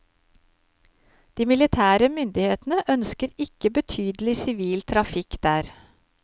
De militære myndighetene ønsker ikke betydelig sivil trafikk der.